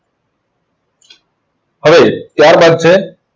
હવે ત્યાર બાદ છે